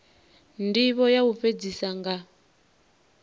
ndivho ya u fhedzisa nga